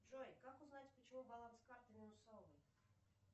джой как узнать почему баланс карты минусовый